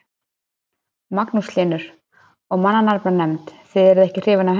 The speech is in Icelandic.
Magnús Hlynur: Og mannanafnanefnd, þið eruð ekki hrifin af henni?